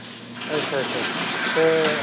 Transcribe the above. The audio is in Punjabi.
ਅੱਛਾ ਅੱਛਾ ਤੇ।